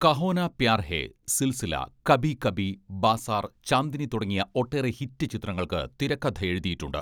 കഹോന പ്യാർ ഹെ, സിൽസില, കബി കബി, ബാസാർ, ചാന്ദിനി തുടങ്ങിയ ഒട്ടേറെ ഹിറ്റ് ചിത്രങ്ങൾക്ക് തിരക്കഥയെഴുതിയിട്ടുണ്ട്.